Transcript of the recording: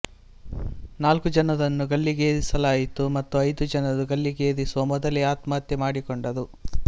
ನಾಲ್ಕು ಜನರನ್ನು ಗಲ್ಲಿಗೇರಿಸಲಾಯಿತು ಮತ್ತು ಐದು ಜನರು ಗಲ್ಲಿಗೇರಿಸುವ ಮೊದಲೆ ಆತ್ಮಹತ್ಯೆ ಮಾಡಿಕೊಂಡರು